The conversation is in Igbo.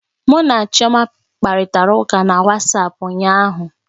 Mụ na Chioma kparịtara ụka na Wasapu ụnyaahụ